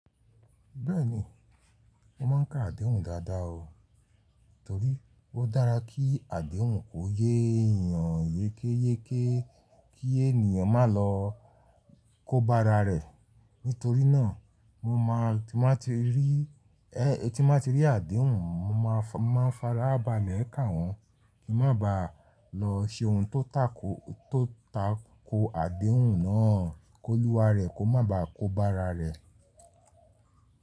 Bẹ́ẹ̀ni, mo máa ń ka àdéhùn dáadáa o. Nítorí ó dára kí àdéhùn kó yé èèyàn yékéyéké kí ènìyàn má lọ kó bá ara rẹ̀. Nítorí náà mo máa tí mo bá ti rí, ẹ́ tí mo bá ti rí àdéhùn, mo máa farabalẹ̀ kà wọ́n kí n má baà lọ ṣe ohun tó tako àdéhùn náà, kóluwa rẹ̀ kó má baà kó bá ara rẹ̀.